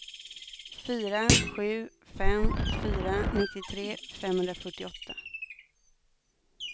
fyra sju fem fyra nittiotre femhundrafyrtioåtta